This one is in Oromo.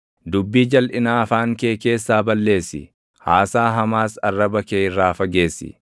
Dubbii jalʼinaa afaan kee keessaa balleessi; haasaa hamaas arraba kee irraa fageessi.